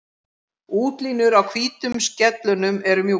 Útlínur á hvítu skellunum eru mjúkar.